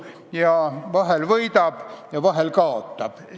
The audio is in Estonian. Ja vahel võidab, vahel kaotab.